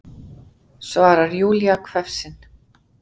svarar Júlía hvefsin.